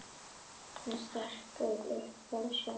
Hann er strekktur að sjá.